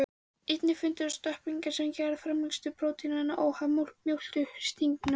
Einnig fundust stökkbreytingar sem gerðu framleiðslu prótínanna óháða mjólkursykrinum.